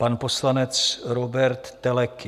Pan poslanec Róbert Teleky.